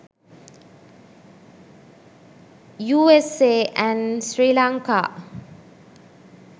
usa and sri lanka